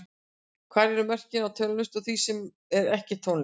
Hvar eru mörkin á tónlist og því sem er ekki tónlist?